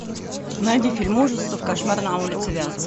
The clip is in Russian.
найди фильм ужасов кошмар на улице вязов